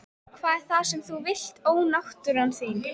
Hvað er það sem þú vilt ónáttúran þín?